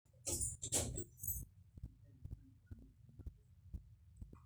ijio eitu nanu ayaakini ilkiek enaa esaa duo naigerokino te sipitali